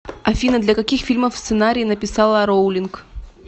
афина для каких фильмов сценарии написала роулинг